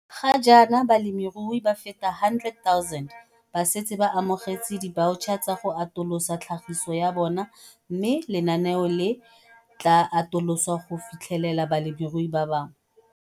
Ga jaana, balemirui ba feta 100 000 ba setse ba amogetse dibaotšha tsa go atolosa tlhagiso ya bona mme lenaneo le tla atolosiwa go fitlhelela balemirui ba bangwe.